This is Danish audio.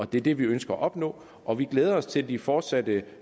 det er det vi ønsker at opnå og vi glæder os til de fortsatte